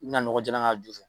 I bina nɔgɔ jalan k'a jufɛ.